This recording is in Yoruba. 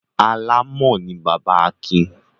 Alámọ̀ ni bàbá Akin.